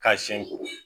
K'a siɲɛ ko